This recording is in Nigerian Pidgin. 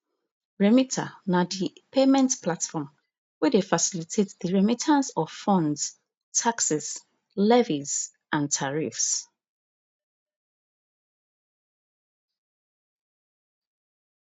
remita na di payment platform wey dey facilitate di remittance of funds taxes levies and tariffs